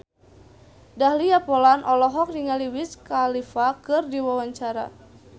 Dahlia Poland olohok ningali Wiz Khalifa keur diwawancara